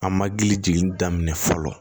An ma deli jigini daminɛ fɔlɔ